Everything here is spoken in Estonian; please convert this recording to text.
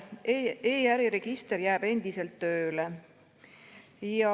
E‑äriregister jääb endiselt tööle.